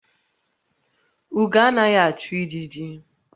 Ugo anaghi achu ijiji